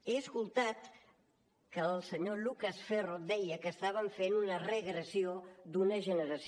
he escoltat que el senyor lucas ferro deia que estàvem fent una regressió d’una generació